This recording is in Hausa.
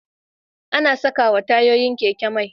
Ana sakawa tayoyin keke mai